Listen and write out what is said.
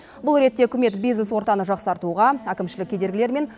бұл ретте үкімет бизнес ортаны жақсартуға әкімшілік кедергілер мен